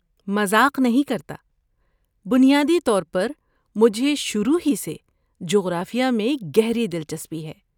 مذاق نہیں کرتا، بنیادی طور پر مجھے شروع ہی سے جغرافیہ میں گہری دلچسپی ہے۔